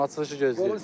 Açılışı gözləyirəm.